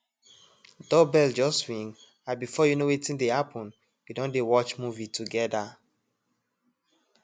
doorbell just ring and before you know wetin dey happen we don dey watch movie together